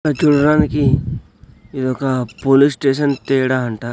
చూడడానికి ఇదొక police station తేడా అంట--